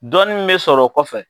Dɔɔni mun be sɔrɔ o kɔfɛ